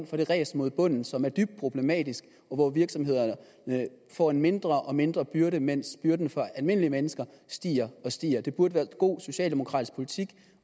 for det ræs mod bunden som er dybt problematisk og hvor virksomhederne får en mindre og mindre byrde mens byrden for almindelige mennesker stiger og stiger det burde være god socialdemokratisk politik